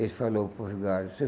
Ele falou para o Vigário